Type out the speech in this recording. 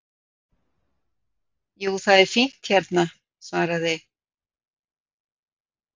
Jú, það er fínt hérna svaraði